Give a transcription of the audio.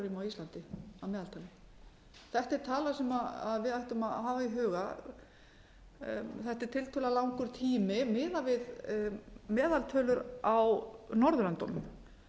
íslandi að meðaltali þetta er tala sem við ættum að hafa í huga þetta er tiltölulega langur tími miðað við meðaltölur á norðurlöndunum